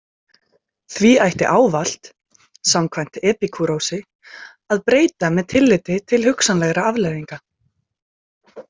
Því ætti ávallt, samkvæmt Epíkúrosi, að breyta með tilliti til hugsanlegra afleiðinga.